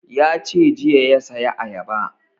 Ya ce jiya ya saya ayaba